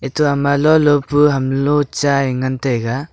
atao ma lo lo pe chai yu ngan tega.